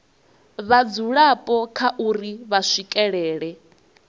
vhadzulapo kha uri vha swikelela